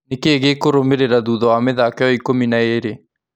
Nikĩ ĩ gĩ kũrũmĩ rĩ ra thutha wa mĩ thako ĩ yo ikũmi na ĩ rĩ ?